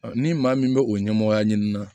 Ni maa min bɛ o ɲɛmɔgɔya ɲini na